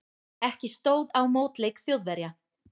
Ekki stóð á mótleik Þjóðverja.